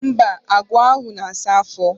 Mba, agwa ahụ na-asa afọ.